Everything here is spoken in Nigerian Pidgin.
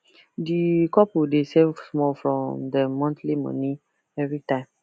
di couple dey save small from dem monthly money every time